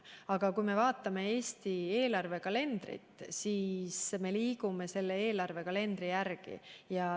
Aga vaatame Eesti eelarvekalendrit, me liigume selle järgi.